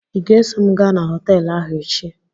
ị ga-eso m gaa na họteelụ ahụ echi?